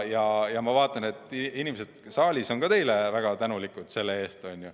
Ja ma vaatan, et ka inimesed saalis on teile selle eest väga tänulikud.